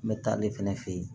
N bɛ taa ale fɛnɛ fɛ yen